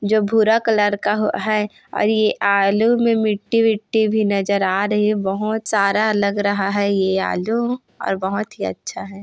जो भूरा कलर क का है और ये आलू मे मिट्टी-बिट्टी भी नज़र आ रही है बहोत सारा लग रहा है ये आलू और बहोत ही अच्छा है।